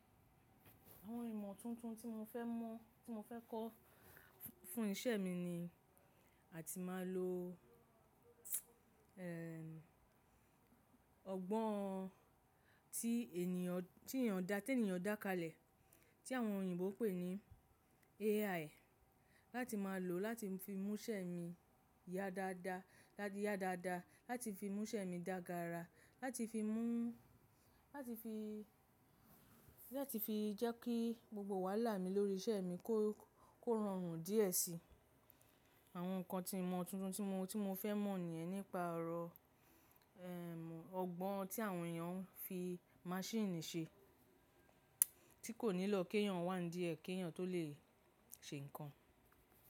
Àwọn ìmọ̀ tuntun tí mo fẹ́ mọ̀, tí mo fẹ́ kọ́ fún iṣẹ́ mi ni a ti máa lo ọgbọ́n tí ènìyàn tí ènìyàn dá, tí ènìyàn dá kalẹ̀ tí àwọn òyìnbó pè ní AI. Láti máa lò láti fi mú iṣẹ́ mi ya dáadáa, láti ya dáadáa, láti fi mú iṣẹ́ mi dagara, láti fi mú láti fi, láti fi jẹ́ kí gbogbo wàhálà mi lórí iṣẹ́ mi kó, kó rọrùn díẹ̀ síi. Àwọn nǹkan tí mo tuntun tí mo, tí mo fẹ́ mọ̀ ní ẹ nípa ọ̀rọ̀ ọgbọ́n tí àwọn èèyàn ń fi maṣíìnì ṣe tí kò nílò kí èèyàn wà nídìí kí èèyàn tó lè ṣe nǹkan.